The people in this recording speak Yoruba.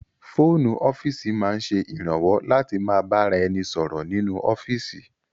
Fóònù ọ́fíìsì máa ń ṣe ìrànwọ́ láti ma bá ra ẹni sọ̀rọ̀ nínú ọ́fíìsì